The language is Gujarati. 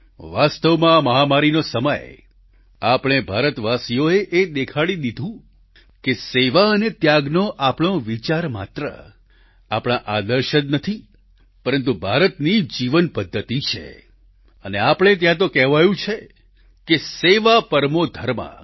વાસ્તવમાં આ માહામારીનો સમય આપણે ભારતવાસીઓએ એ દેખાડી દીધું કે સેવા અને ત્યાગનો આપણો વિચાર માત્ર આપણા આદર્શ જ નથી પરંતુ ભારતની જીવનપદ્ધતિ છે અને આપણે ત્યાં તો કહેવાયું છે કે સેવા પરમો ધર્મ